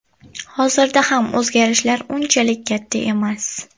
Hozirda ham o‘zgarishlar unchalik katta emas.